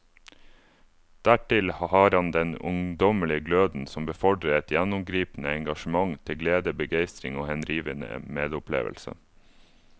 Dertil har han den ungdommelige gløden som befordrer et gjennomgripende engasjement til glede, begeistring og henrivende medopplevelse.